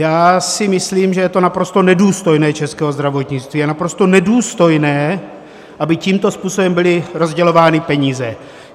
Já si myslím, že je to naprosto nedůstojné českého zdravotnictví a naprosto nedůstojné, aby tímto způsobem byly rozdělovány peníze.